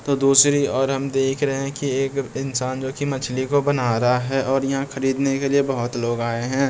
तो दूसरी और हम देख रहे है की एक इंसान जो की मछली को बना रहा है और यहाँ खरीदने के लिए बहुत लोग आए है।